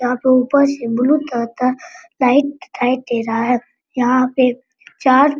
यहां पर ऊपर ब्लू कलर का लाइट दिखाई दे रहा है यहां पे चार --